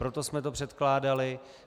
Proto jsme to předkládali.